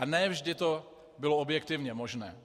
A ne vždy to bylo objektivně možné.